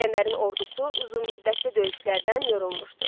İsgəndərin ordusu uzunmüddətli döyüşlərdən yorulmuşdu.